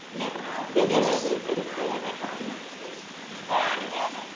Viðræður eru þegar hafnar.